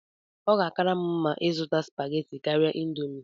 Ọ ga-akara m mma ịzụta spaghetti karịa indomie.